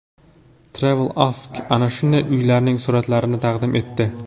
TravelAsk ana shunday uylarning suratlarini taqdim etdi .